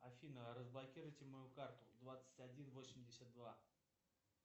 афина разблокируйте мою карту двадцать один восемьдесят два